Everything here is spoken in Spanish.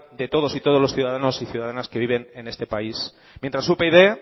de todos y todas los ciudadanos y ciudadanas que viven en este país mientras upyd